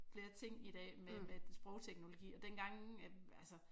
Flere ting i dag med sprogteknologien og dengang at altså